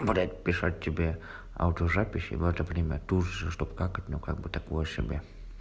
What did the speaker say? блять писать тебе аудиозаписи в это время тужится чтобы какать ну как бы такое себе